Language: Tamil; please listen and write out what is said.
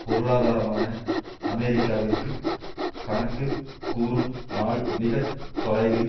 பொருளாதாரமான அமெரிக்காவிற்கு கணக்கு கூறும் நாள் மிக தொலைவில்